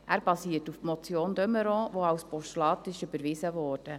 Er basiert auf der Motion de Meuron die als Postulat überwiesen wurde.